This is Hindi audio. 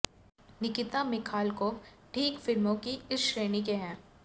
निकिता मिखालकोव ठीक फिल्मों की इस श्रेणी के हैं